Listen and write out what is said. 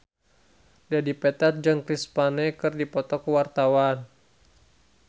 Dedi Petet jeung Chris Pane keur dipoto ku wartawan